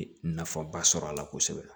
Nafaba sɔrɔ a la kosɛbɛ